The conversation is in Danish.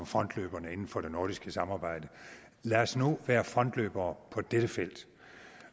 frontløber inden for det nordiske samarbejde lad os nu være frontløbere på dette felt